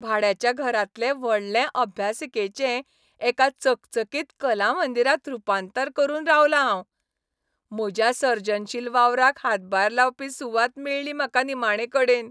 भाड्याच्या घरांतले व्हडले अभ्यासिकेचें एका चकचकीत कलामंदिरांत रूपांतर करूंक रावलां हांव. म्हज्या सर्जनशील वावराक हातभार लावपी सुवात मेळ्ळी म्हाका निमाणेकडेन.